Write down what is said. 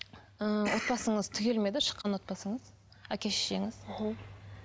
ы отбасыңыз түгел ме еді шыққан отбасыңыз әке шешеңіз мхм